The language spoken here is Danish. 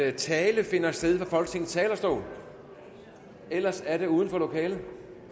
at tale finder sted fra folketingets talerstol ellers er det uden for lokalet